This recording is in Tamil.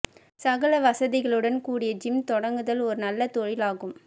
சகல வசதிகளுடன் கூடிய ஜிம் தொடங்குதல் ஒரு நல்ல தொழில் ஆகும்